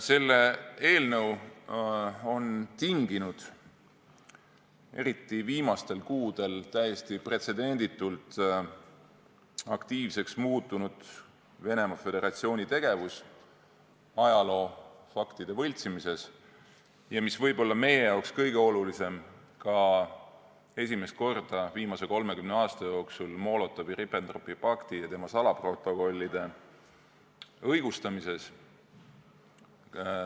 Selle eelnõu on tinginud eriti viimastel kuudel täiesti pretsedenditult aktiivseks muutunud Venemaa Föderatsiooni tegevus ajaloofaktide võltsimises ja – mis meie jaoks võib-olla kõige olulisem – esimest korda viimase 30 aasta jooksul ka Molotovi-Ribbentropi pakti ja selle salaprotokollide õigustamises.